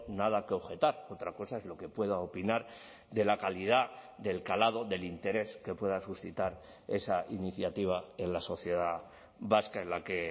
nada que objetar otra cosa es lo que pueda opinar de la calidad del calado del interés que pueda suscitar esa iniciativa en la sociedad vasca en la que